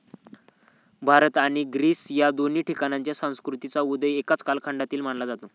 भारत आणि ग्रीस या दोन्ही ठिकाणच्या संस्कृतींचा उदय एकाच कालखंडातील मानला जातो